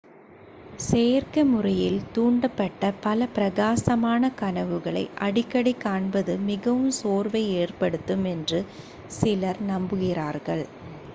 செயற்கைமுறையில் தூண்டப்பட்ட பல பிரகாசமான கனவுகளை அடிக்கடிக் காண்பது மிகவும் சோர்வை ஏற்படுத்தும் என்று சிலர் நம்புகிறார்கள்